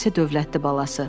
O isə dövlətli balası.